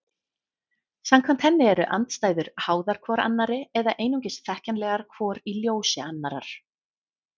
Samkvæmt henni eru andstæður háðar hvor annarri eða einungis þekkjanlegar hvor í ljós annarrar.